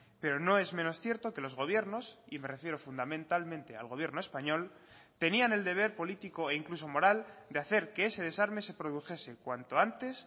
pero no es menos cierto que los gobiernos y me refiero fundamentalmente al gobierno español tenían el deber político e incluso moral de hacer que ese desarme se produjese cuanto antes